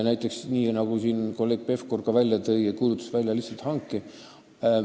Näiteks nii, nagu ka kolleeg Pevkur siin välja tõi – lihtsalt hanke väljakuulutamisega.